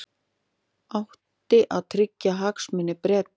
Átti að tryggja hagsmuni Breta